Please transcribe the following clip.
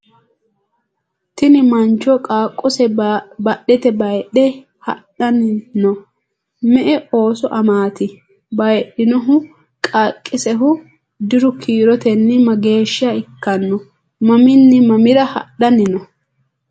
tini mancho qaaqose badhete baayidhe hadhanni no? me"e ooso amaati? bayidhinohu qaaqqisehu diru kiirotenni mageeshsha ikkanno? mamiinni mamira hadhanni no?